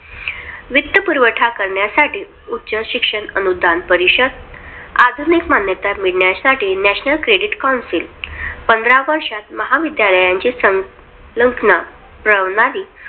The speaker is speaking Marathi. वित्तपुरवठा करण्यासाठी उच्च शिक्षण अनुदान परिषद आधुनिक मान्यता मिळण्यासाठी नँशनल क्रेडीट कौन्सिल पंधरा वर्षात महावितरण संलोकाना प्रणाली